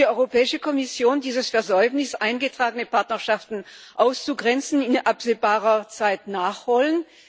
Will die Europäische Kommission dieses Versäumnis, eingetragene Partnerschaften auszugrenzen, in absehbarer Zeit nachholen?